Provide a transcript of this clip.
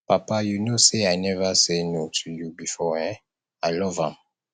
papa you no say i never say no to you before um i love am